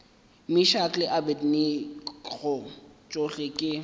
meshack le abednego tšohle ke